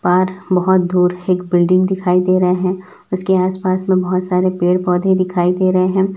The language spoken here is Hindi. और बहोत दूर एक बिल्डिंग दिखाई दे रहें है उसके आस पास में बहोत सारे पेड़ पौधे दिखाई दे रहे हैं।